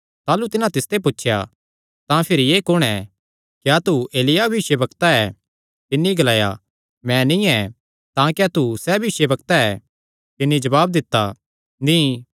ताह़लू तिन्हां तिसते पुछया तां भिरी एह़ कुण क्या तू एलिय्याह भविष्यवक्ता ऐ तिन्नी ग्लाया मैं नीं ऐ तां क्या तू सैह़ भविष्यवक्ता ऐ तिन्नी जवाब दित्ता नीं